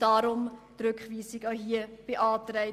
Darum haben wir auch hierfür die Rückweisung beantragt.